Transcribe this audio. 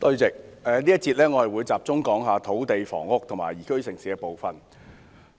在這個辯論環節，我會集中討論有關土地、房屋和宜居城市的政策範疇。